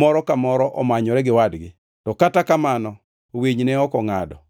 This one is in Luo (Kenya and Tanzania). moro ka moro omanyore gi wadgi, to kata kamano, winy ne ok ongʼado.